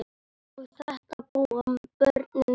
Og þetta búa börnin við.